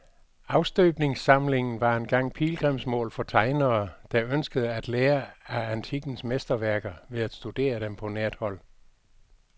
Afstøbningssamlingen var engang pilgrimsmål for tegnere, der ønskede at lære af antikkens mesterværker ved at studere dem på nært hold.